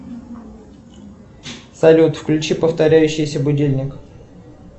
салют включи повторяющийся будильник